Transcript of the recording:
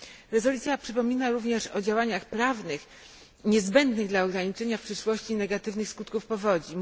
Rezolucja przypomina również o działaniach prawnych niezbędnych dla ograniczenia w przyszłości negatywnych skutków powodzi.